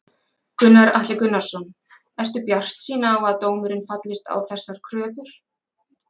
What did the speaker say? Gunnar Atli Gunnarsson: Ertu bjartsýn á að dómurinn fallist á þessar kröfur?